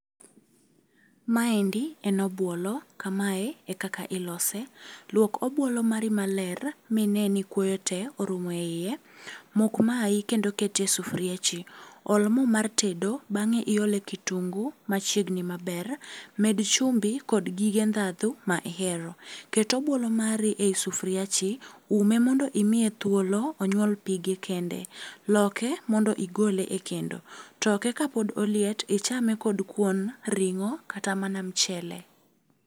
Maendi en obuolo, kamae e kaka ilose. Luok obuolo mari maler mine ni kuoyo te orumo e iye. Mok mayi kendo ketie sufriachi. Ol moo mar tedo bang'e iole kitungu machiegni maber. Med chumbi kod gige ndhadhu ma ihero. Ket obuolo mari ei sufriachi, ume mondo imiye thuolo onyuol pige kende. Loke mondo igole e kendo. Toke ka pod oliet ichame kod kuon, ring'o, kata mana mchele.